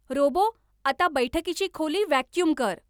robot आता बैठकीची खोली व्हॅक्युम कर